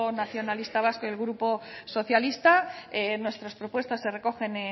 nacionalista vasco y el grupo socialista nuestras propuestas se recogen